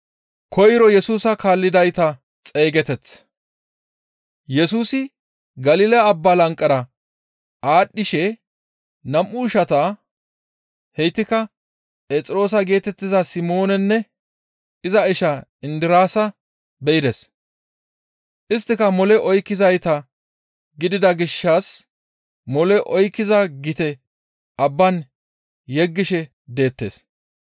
Yesusi Galila Abba lanqera aadhdhishe nam7u ishantta, heytikka Phexroosa geetettiza Simoonanne iza isha Indiraasa be7ides. Isttika mole oykkizayta gidida gishshas mole oykkiza gite abban yeggishe deettes.